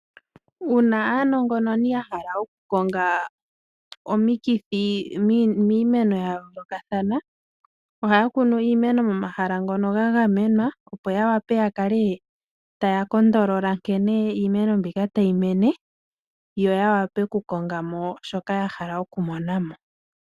Uuna aanongononi ya hala okukonga omikithi miimeno yayoolokathana ohaya kunu iimeno momahala ngono ga gamenwa opo yawape yakale taya sile oshimpwiyu nkeno iimeno mbyoka tayi mene yoya wape okukongamo shoka yahala okumonamo.